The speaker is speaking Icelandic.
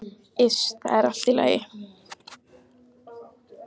Iss, það er allt í lagi.